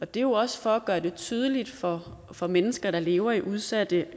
det er jo også for at gøre det tydeligt for for mennesker der lever i udsatte